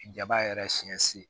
Jaba yɛrɛ siɲɛ si